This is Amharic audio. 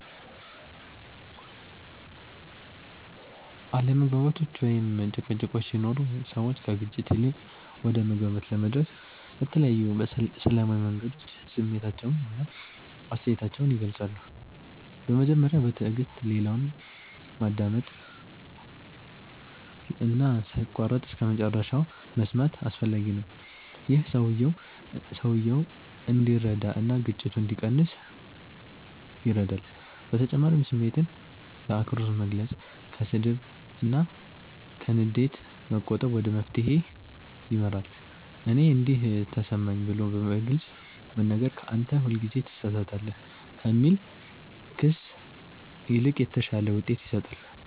አለመግባባቶች ወይም ጭቅጭቆች ሲኖሩ ሰዎች ከግጭት ይልቅ ወደ መግባባት ለመድረስ በተለያዩ ሰላማዊ መንገዶች ስሜታቸውን እና አስተያየታቸውን ይገልጻሉ። በመጀመሪያ በትዕግስት ሌላውን ማዳመጥ እና ሳይቋረጥ እስከመጨረሻ መስማት አስፈላጊ ነው። ይህ ሰውየው እንዲረዳ እና ግጭቱ እንዲቀንስ ይረዳል በተጨማሪም ስሜትን በአክብሮት መግለጽ፣ ከስድብ እና ከንዴት መቆጠብ ወደ መፍትሄ ይመራል። “እኔ እንዲህ ተሰማኝ” ብሎ በግልጽ መናገር ከ “አንተ ሁልጊዜ ትሳሳታለህ” ከሚል ክስ ይልቅ የተሻለ ውጤት ይሰጣል።